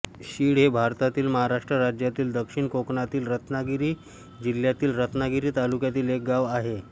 शिळ हे भारतातील महाराष्ट्र राज्यातील दक्षिण कोकणातील रत्नागिरी जिल्ह्यातील रत्नागिरी तालुक्यातील एक गाव आहे